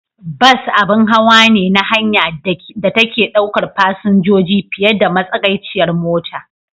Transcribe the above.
Bas abun hawa ne na hanya da take ɗaukar fasinjoji fiye da matsagaiciyar mota.